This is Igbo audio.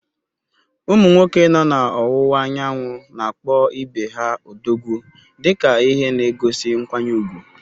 Ụmụ nwoke nọ n’Ọwụwa Anyanwụ na-akpọ ibe ha “Odogwu” dị ka ihe na-egosi nkwanye ùgwù.